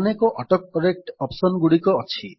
ଅନେକ autocorrect option ଗୁଡିକ ଅଛି